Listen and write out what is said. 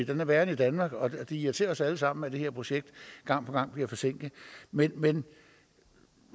den er værre end i danmark og det irriterer os alle sammen at det her projekt gang på gang bliver forsinket men men